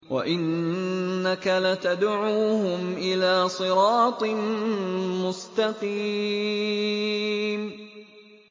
وَإِنَّكَ لَتَدْعُوهُمْ إِلَىٰ صِرَاطٍ مُّسْتَقِيمٍ